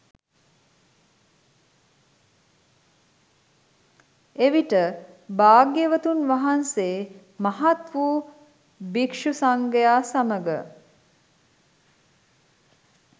එවිට භාග්‍යවතුන් වහන්සේ මහත් වූ භික්ෂු සංඝයා සමඟ